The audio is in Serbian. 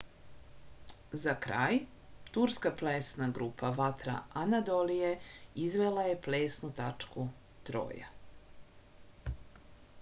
za kraj turska plesna grupa vatra anadolije izvela je plesnu tačku troja